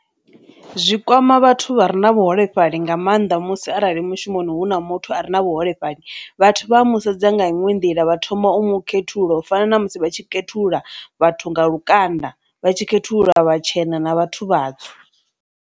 Zwi kwama vhathu vha re na vhuholefhali nga maanḓa musi arali mushumoni hu na muthu a re na vhuholefhali vhathu vha a mu sedza nga inwe nḓila vha thoma u mu khethulula u fana na musi vha tshi khethulula vhathu nga lukanda, vha tshi khethululwa vhatshena na vhathu vhatsu.